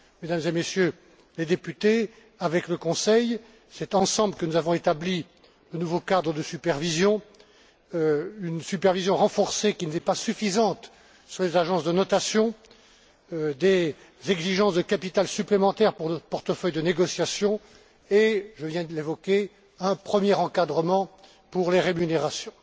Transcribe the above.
Mesdames et Messieurs les députés, avec le Conseil, c'est ensemble que nous avons établi le nouveau cadre de supervision, une supervision renforcée qui n'était pas suffisante sur les agences de notation, des exigences de capital supplémentaires pour notre portefeuille de négociation et je viens de l'évoquer un premier encadrement pour les rémunérations.